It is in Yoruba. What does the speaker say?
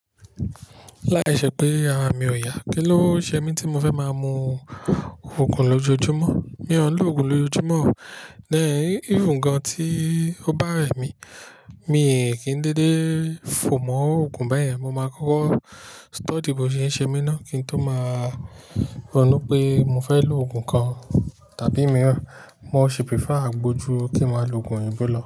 Láìṣè pé ara mi ò yá, kí ló ṣe mí tí mo fẹ́ máa mu òògùn lójoojúmọ́? Mi ò ń lo òògùn lójoojúmọ́. Then even gan tí ó bá rẹ̀ mí, mi kì í dédé fò mọ́ òògùn báyẹn. Mo máa kọ́kọ́ study bó ṣe ń ṣe mí náà kí n tó máa ronú pé mo fẹ́ lo òògùn kan. Tàbí mìíràn, mo ṣe prefer agbó ju kí n máa lo òògùn òyìnbó lo.